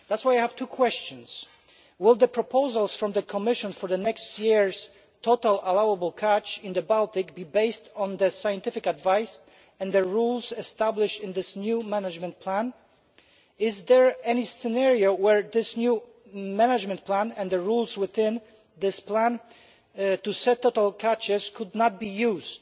That is why I have two questions will the proposals from the Commission for next year's total allowable catch in the Baltic be based on the scientific advice and the rules established in this new management plan and is there any scenario where this new management plan and the rules within it to settle catches could not be used?